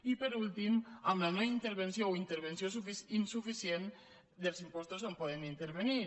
i per últim amb la no intervenció o intervenció insuficient dels impostos on poden intervenir